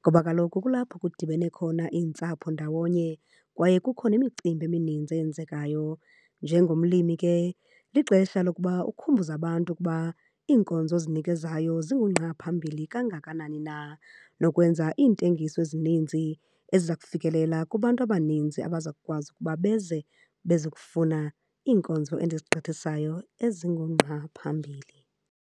ngoba kaloku kulapho kudibene khona iintsapho ndawonye, kwaye kukho nemicimbi emininzi eyenzekayo. Njengomlimi ke lixesha lokuba ukhumbuze abantu ukuba iinkonzo ozinikezayo zingungqaphambili kangakanani na. Nokwenza iintengiso ezininzi eziza kufikelela kubantu abaninzi abaza kukwazi ukuba beze, beze kufuna iinkonzo endizigqithisayo ezingungqa phambili.